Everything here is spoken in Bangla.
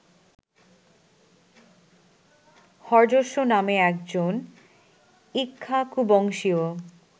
হর্যশ্ব নামে একজন ইক্ষ্বাকুবংশীয়